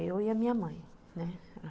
eu e a minha mãe, né.